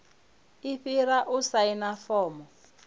i fhira u saina fomo